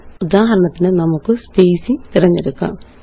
ഉദാഹരണത്തിന് നമുക്ക് സ്പേസിംഗ് തിരഞ്ഞെടുക്കാം